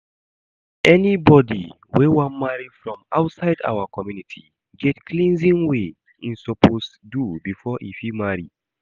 Anybody wey wan marry from outside our community get cleansing wey im suppose do before e fit marry